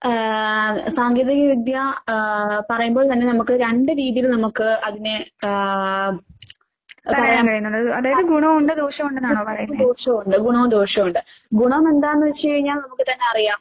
ആഹ് സാങ്കേതിക വിദ്യ ആഹ് പറയുമ്പോൾ തന്നെ നമുക്ക് രണ്ട് രീതീല് നമക്ക് അതിനെ ആഹ് ഗുണോവൊണ്ട് ദോഷോവൊണ്ട്. ഗുണോം ദോഷോണ്ട്. ഗുണമെന്താന്ന് വെച്ച് കഴിഞ്ഞാ നമുക്ക് തന്നറിയാം